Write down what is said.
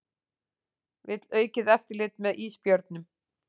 Vill aukið eftirlit með ísbjörnum